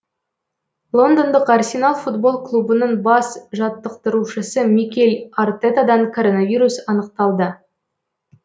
лондондық арсенал футбол клубының бас жаттықтырушысы микель артетадан коронавирус анықталды